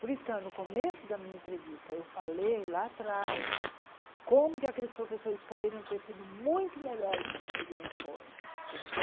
Por isso que no começo da minha entrevista eu falei lá atrás como que aqueles professores poderiam ter sido muito melhores comigo e não foram, entende?